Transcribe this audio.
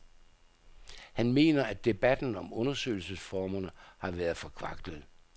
Han mener, at debatten om undersøgelsesformerne har været forkvaklet.